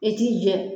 I t'i jɛ